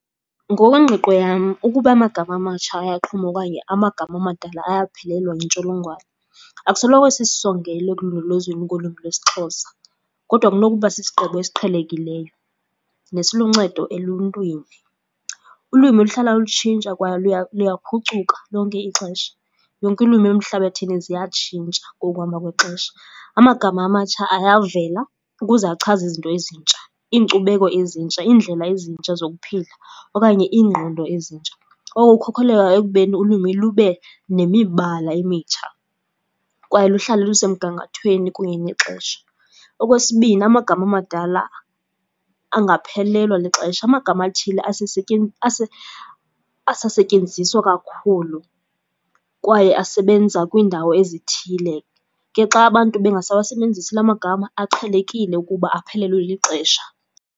Ngokwengqiqo yam, ukuba amagama amatsha ayaqhuma okanye amagama amadala ayaphelelwa yintsholongwane. Akusoloko sisisongelo ekulondolozweni kolwimi lwesiXhosa, kodwa kunokuba sisigqibo esiqhelekileyo nesiluncedo eluntwini. Ulwimi luhlala lutshintsha kwaye luyaphucuka lonke ixesha. Yonke iilwimi emhlabathini ziyatshintsha ngokuhamba kwexesha. Amagama amatsha ayavela ukuze achaze izinto ezintsha. Iinkcubeko ezintsha, iindlela ezintsha zokuphila okanye iingqondo ezintsha. Oko kukhokheleka ekubeni ulwimi lube nemibala emitsha kwaye luhlale luse mgangathweni kunye nexesha. Okwesibini, amagama amadala angaphelelwa lixesha. Amagama athile asasetyenziswa kakhulu kwaye asebenza kwiindawo ezithile. Ke xa abantu bengasawasebenzisi la magama, aqhelekile ukuba aphelelwe lixesha.